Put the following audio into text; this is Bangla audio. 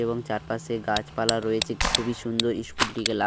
এবং চারপাশে গাছপালা রয়েছে। খুবই সুন্দর ইস্কুল টিকে লাগে--